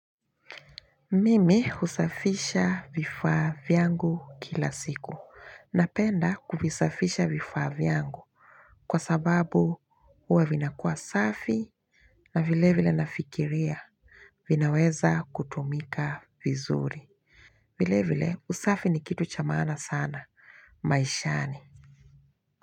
Mimi husafisha vifaa vyangu kila siku. Napenda kuvisafisha vifaa vyangu. Kwa sababu huwa vinakua safi na vile vile nafikiria vinaweza kutumika vizuri. Vile vile usafi ni kitu cha maana sana maishani.